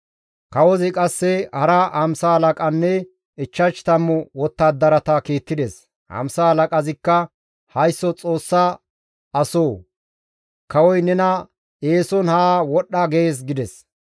Kawozi qasse hara hamsa halaqanne ichchash tammu wottadarata kiittides; hamsa halaqazikka, «Haysso Xoossa asoo! Kawoy nena eeson haa wodhdha gees» gides.